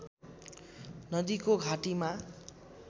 नदीको घाटीमा